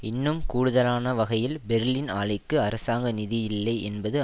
இன்னும் கூடுதலான வகையில் பெர்லின் ஆலைக்கு அரசாங்க நிதி இல்லை என்பது